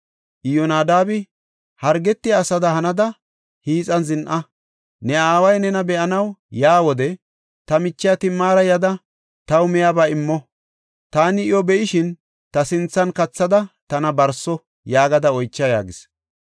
Iyyonadaabi, “Hargetiya asada hanada hiixan zin7a. Ne aaway nena be7anaw yaa wode, ‘Ta michiya Timaara yada taw miyaba immo; taani iyo be7ishin ta sinthan kathada tana barso’ yaagada oycha” yaagis.